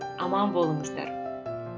аман болыңыздар